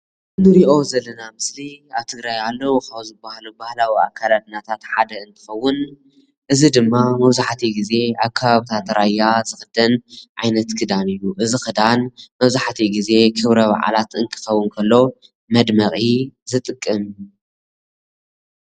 ንሪኦ ዘለና ምስሊ ኣብ ትግራይ ኣለዉ ካብ ዝበሃሉ ባህላዊ አካዳድናታት ሓደ እንትኸዉን እዚ ድማ መብዛሕቲኡ ግዜ ኣብ ከባብታት ራያ ዝኽደን ዓይነት ክዳን እዩ፡፡ እዚ ኽዳን መብዛሕቲኡ ግዜ ክብረ በዓላት እንትኸዉን እንከሎ መድመቒ ዝጥቀም፡፡